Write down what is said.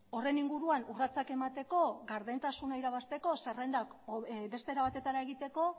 horren inguruan urratsak emateko gardentasuna irabazteko zerrendak beste era batetara egiteko